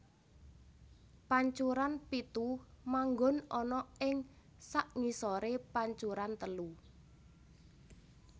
Pancuran pitu manggon ana ing sakngisoré pancuran telu